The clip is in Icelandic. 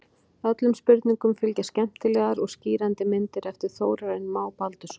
Öllum spurningum fylgja skemmtilegar og skýrandi myndir eftir Þórarinn Má Baldursson.